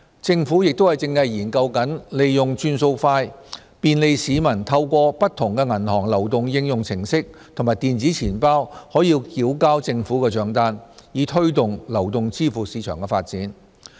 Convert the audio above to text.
政府亦正研究利用"轉數快"，便利市民透過不同的銀行流動應用程式及電子錢包繳交政府帳單，以推動流動支付市場的發展。